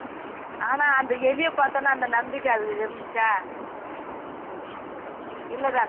ஆனா அந்த எலியை பார்த்த உடனே அந்த நம்பிக்கை இருந்துச்சா இல்ல தானே